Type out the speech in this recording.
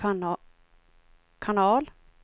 kanal